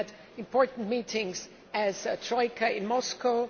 We had important meetings as a troika in Moscow.